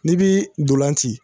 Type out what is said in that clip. N'i bii dolan ci